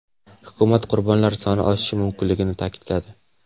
Hukumat qurbonlar soni oshishi mumkinligini ta’kidladi.